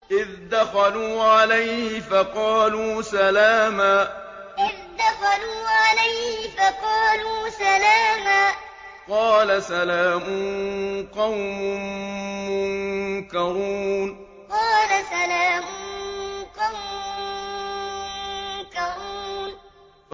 إِذْ دَخَلُوا عَلَيْهِ فَقَالُوا سَلَامًا ۖ قَالَ سَلَامٌ قَوْمٌ مُّنكَرُونَ إِذْ دَخَلُوا عَلَيْهِ فَقَالُوا سَلَامًا ۖ قَالَ سَلَامٌ قَوْمٌ مُّنكَرُونَ